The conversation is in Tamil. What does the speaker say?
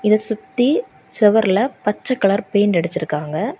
இத சுத்தி செவர்ல பச்சை கலர் பெயிண்ட் அடிச்சிருக்காங்க.